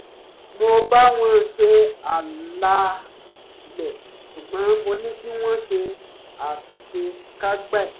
mo bá wọn ṣe àlàálẹ̀ ṣùgbọ́n mo ní kí wọ́n ṣe àṣekágbá ẹ̀